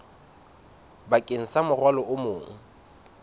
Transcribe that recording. bakeng sa morwalo o mong